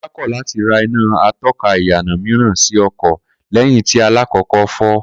Kó̩lá kò̩ láti ra iná ató̩ka ìyànà mìíràn sí o̩kò̩ lé̩yìn tí alákò̩ó̩kó̩ fó̩